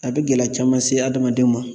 A bɛ gɛlɛya caman se adamadenw ma